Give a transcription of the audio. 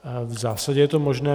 V zásadě je to možné.